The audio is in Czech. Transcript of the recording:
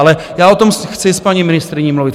Ale já o tom chci s paní ministryni mluvit.